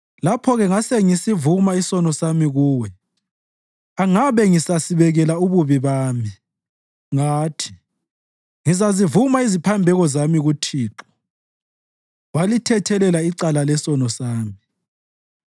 Lapho-ke ngasengisivuma isono sami Kuwe angabe ngisasibekela ububi bami. Ngathi, “Ngizazivuma iziphambeko zami kuThixo,” walithethelela icala lesono sami.